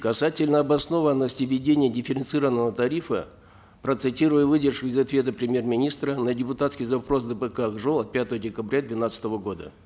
касательно обоснованности введения дифференцированного тарифа процитирую выдержку из ответа премьер министра на депутатский запрос дпк ак жол от пятого декабря двенадцатого года